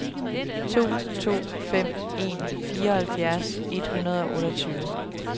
to to fem en fireoghalvfjerds et hundrede og otteogtyve